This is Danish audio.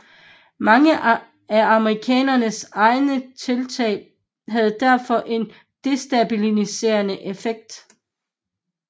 Mange af amerikanernes egne tiltag havde derfor en destabiliserende effekt